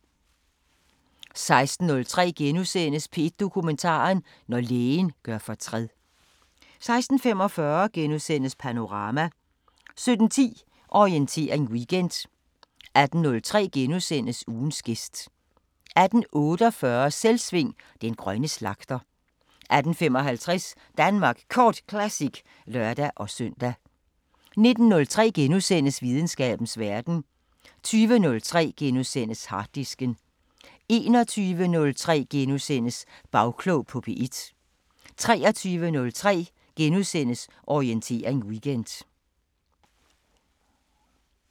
16:03: P1 Dokumentar: Når lægen gør fortræd * 16:45: Panorama * 17:10: Orientering Weekend 18:03: Ugens gæst * 18:48: Selvsving: Den grønne slagter 18:55: Danmark Kort Classic (lør-søn) 19:03: Videnskabens Verden * 20:03: Harddisken * 21:03: Bagklog på P1 * 23:03: Orientering Weekend *